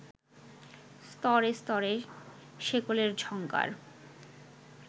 স্তরে স্তরে শেকলের ঝংকার